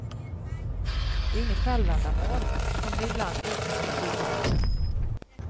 Det är inget självändamål, som det ibland utmålas i debatten.